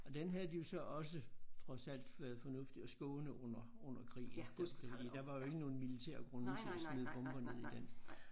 Og den havde de jo så også trods alt været fornuftige at skåne under under krigen fordi der var jo ikke nogen militære grunde til at smide bomber ned i den